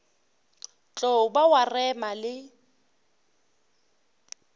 tlo ba wa rema le